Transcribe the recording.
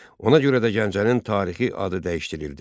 Ona görə də Gəncənin tarixi adı dəyişdirildi.